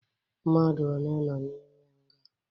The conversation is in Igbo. Mmadu one nọ n'ime nga?